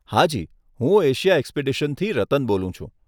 હાજી, હું એશિયા એક્સપીડિશનથી રતન બોલું છું.